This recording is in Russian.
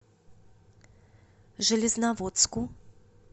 железноводску